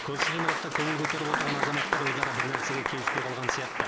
көрші ғимаратта көңіл көтеріп отырған азаматтар өзара бір нәрсеге келіспей қалған сияқты